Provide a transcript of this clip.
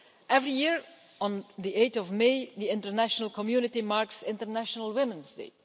Every year, on 8 May, the international community marks International Women's Day.